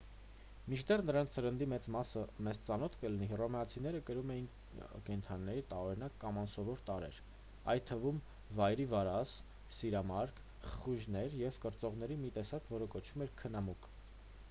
մինչդեռ նրանց սննդի մեծ մասը մեզ ծանոթ կլինի հռոմեացիները կրում էին կենդանիների տարօրինակ կամ անսովոր տարրեր այդ թվում վայրի վարազ սիրամարգ խխունջներ և կրծողների մի տեսակ որը կոչվում էր քնամուկ